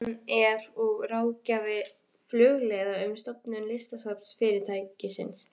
Hann er og ráðgjafi Flugleiða um stofnun listasafns fyrirtækisins.